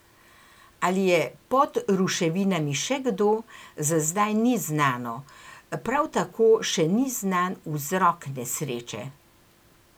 Ali je pod ruševinami še kdo, za zdaj ni znano, prav tako še ni znan vzrok nesreče.